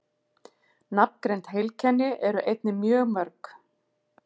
Nafngreind heilkenni eru einnig mjög mörg.